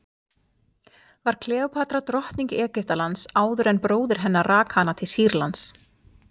Uppfinningarnar sem þar eru nefndar eru flestar óáþreifanlegar: stjórnskipan, bókmenntaform og fræðigreinar.